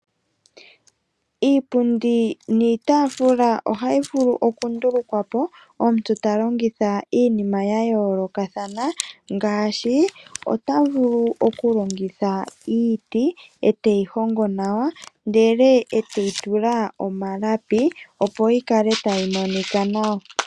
Iipundi niitafula ohayi vulu oku ndulukwapo omuntu talongitha iinima yayoloka thana ngashi ota vulu okulongitha iiti eteyihongo nanwa ndele eteyitula omalapi opo yikale tayimonika nawa.